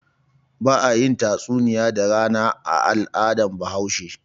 Ba a yin tatsuniya da rana a al'adar Bahaushe.